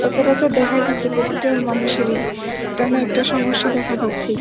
সচারচর দেখা যাচ্ছে প্রতিটা মানুষেরই একটা না একটা সমস্যা দেখা দিচ্ছে